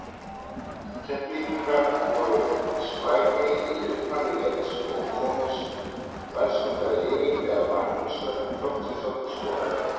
Keflvíkingar voru sprækari í upphafi leiks og komust verðskuldað yfir þegar Magnús Sverrir Þorsteinsson skoraði.